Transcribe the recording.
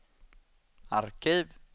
arkiv